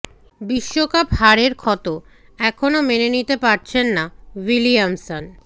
বিশ্বকাপ হারের ক্ষত এখনও মেনে নিতে পারছেন না উইলিয়ামসন